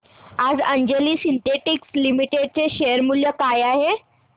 आज Anjani synthetics limited चे share मूल्य काय आहे